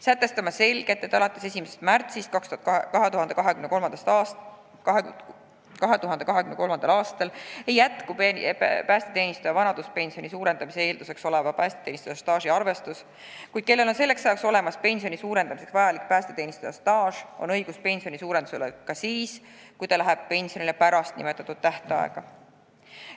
Sätestame selgelt, et alates 1. märtsist 2023. aastal lõpeb päästeteenistuja vanaduspensioni suurendamise eelduseks oleva päästeteenistuse staaži arvestus, kuid kellel on selleks ajaks olemas pensioni suurendamiseks vajalik päästeteenistuja staaž, nendel on õigus suuremale pensionile ka siis, kui nad lähevad pensionile pärast nimetatud tähtaega.